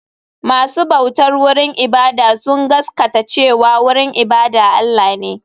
Masu bautar wurin ibada sun gaskata cewa wurin ibada Allah ne.